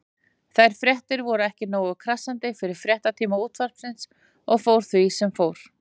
Þær fréttir voru ekki nógu krassandi fyrir fréttatíma Útvarpsins og því fór sem fór.